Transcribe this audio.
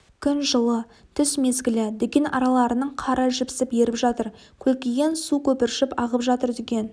күн жылы түс мезгілі дүкен араларының қары жіпсіп еріп жатыр көлкіген су көпіршіп ағып жатыр дүкен